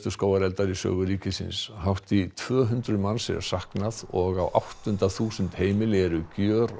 skógareldar í sögu ríkisins hátt í tvö hundruð manns er saknað og á áttunda þúsund heimili eru